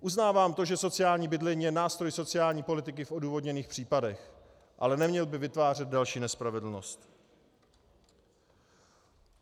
Uznávám to, že sociální bydlení je nástroj sociální politiky v odůvodněných případech, ale neměl by vytvářet další nespravedlnost.